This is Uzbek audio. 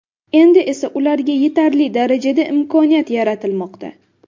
Endi esa ularga yetarli darajada imkoniyat yaratilmoqda.